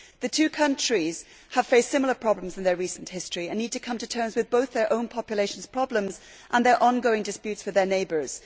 The two countries have faced similar problems in their recent history and need to come to terms with both their own population's problems and their on going disputes with their neighbours.